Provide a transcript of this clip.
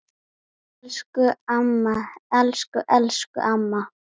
Elsku amma, elsku elsku amma.